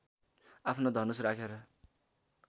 आफ्नो धनुष राखेर